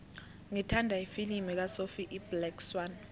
ngithanda ifilimu kasophie iblack swann